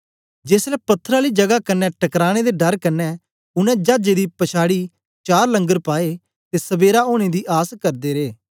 जेसलै पत्थर आली जगा कन्ने टकराने दे डर कन्ने उनै चाजे दी पछाड़ी चार लंगर पाए ते सबेरा ओनें दी आस करदे रे